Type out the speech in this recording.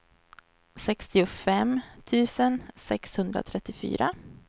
sextiofem tusen sexhundratrettiofyra